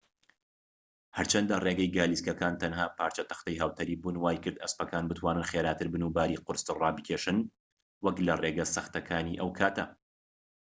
هەرچەندە ڕێگەی گالیسکەکان تەنها پارچە تەختەی هاوتەریببون وایکرد ئەسپەکان بتوانن خێراتر بن و باری قورستر ڕابکێشن وەك لە ڕێگە سەختەکانی ئەو کاتە